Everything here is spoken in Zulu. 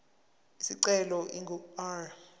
isicelo ingu r